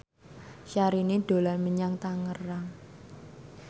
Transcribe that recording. Syahrini dolan menyang Tangerang